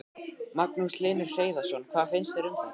Magnús Hlynur Hreiðarsson: Hvað finnst þér um þetta?